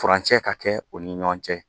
Furancɛ ka kɛ u ni ɲɔgɔn cɛ